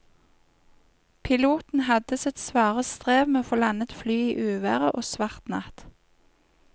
Piloten hadde sitt svare strev med å få landet flyet i uvær og svart natt.